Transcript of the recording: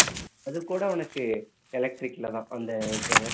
அதுகூட உனக்கு electric ல தான் அந்த